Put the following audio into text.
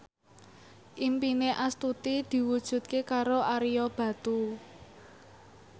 impine Astuti diwujudke karo Ario Batu